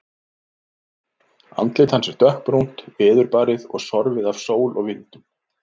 Andlit hans er dökkbrúnt, veðurbarið og sorfið af sól og vindum.